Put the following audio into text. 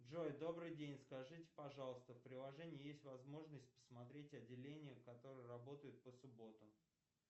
джой добрый день скажите пожалуйста в приложении есть возможность посмотреть отделения которые работают по субботам